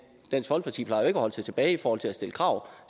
at holde sig tilbage i forhold til at stille krav